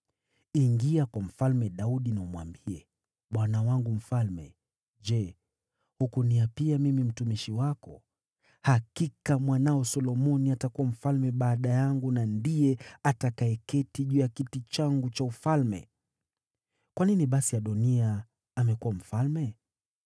Ingia kwa Mfalme Daudi na umwambie, ‘Bwana wangu mfalme, je hukuniapia mimi mtumishi wako: “Hakika mwanao Solomoni atakuwa mfalme baada yangu na ndiye atakayeketi juu ya kiti changu cha ufalme”? Kwa nini basi Adoniya amekuwa mfalme?’